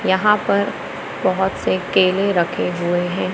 यहां पर बहोत से केले रखे हुए हैं।